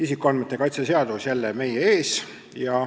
Isikuandmete kaitse seadus on jälle meie ees.